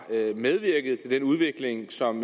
medvirket til den udvikling som